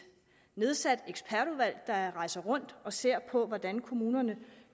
nedsat ekspertudvalg der rejser rundt og ser på hvordan kommunerne